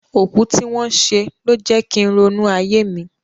Òkú tí wọ́n ṣe ló ń jẹ kín ronú ayé mi.